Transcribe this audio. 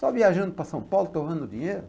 Só viajando para São Paulo, torrando dinheiro?